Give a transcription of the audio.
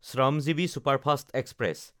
Shramjeevi superfast express